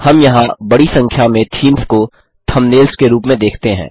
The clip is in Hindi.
हम यहाँ बड़ी संख्या में थीम्स को थंबनेल्स के रूप में देखते हैं